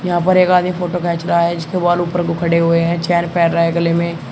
यहां पर एक आदमी फोटो खेंच रहा है जिसके बाल ऊपर को खड़े हुए हैं चैन पैर रा है गले में।